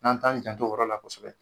N'an t'an janto o yɔrɔ la kosɛbɛ.